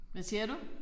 Hvad siger du?